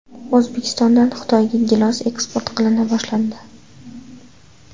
O‘zbekistondan Xitoyga gilos eksport qilina boshlandi.